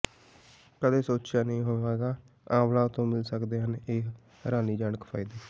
ਕਦੇ ਸੋਚਿਆ ਨਹੀਂ ਹੋਵੇਗਾ ਆਂਵਲਾ ਤੋਂ ਮਿਲ ਸਕਦੇ ਹਨ ਇਹ ਹੈਰਾਨੀਜਨਕ ਫ਼ਾਇਦੇ